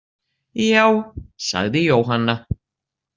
Já, sagði Jóhanna.